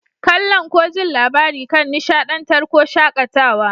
Kalla'n ko ji'n labari kan nishadantar ko shakatawa.